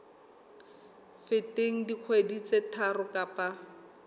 feteng dikgwedi tse tharo kapa